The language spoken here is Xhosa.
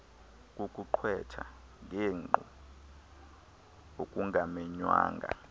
kukuqwetha ngenkqu okungamenywanga